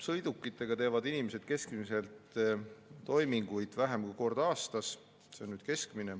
Sõidukitega teevad inimesed toiminguid keskmiselt vähem kui kord aastas.